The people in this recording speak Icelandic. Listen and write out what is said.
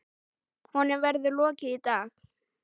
Honum verður lokið í dag.